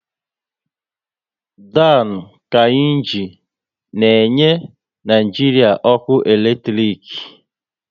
Dam Kainji na enye Naijiria ọkụ eletrik